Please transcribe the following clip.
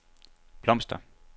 blomster